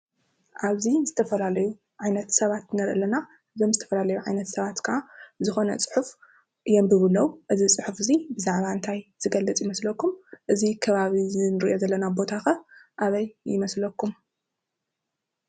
ኣብዚ ዝተፈላለዩ ዓይነት ሰባት ንርኢ ኣለና። እዞም ዝተፈላለዩ ዓይነት ሰባት ከዓ ዝኾነ ፅሑፍ የንብቡ ኣለዉ። እዚ ፅሑፍ እዙይ ብዛዕባ እንታይ ዝገልፅ ይመስለኩም? እዚ ከባቢ እዚ እንርእዮ ዘለና ቦታ ኸ ኣበይ ይመስለኩም?